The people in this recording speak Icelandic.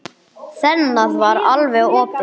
Þemað var alveg opið.